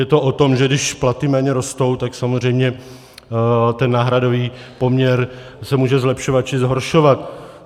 Je to o tom, že když platy méně rostou, tak samozřejmě ten náhradový poměr se může zlepšovat či zhoršovat.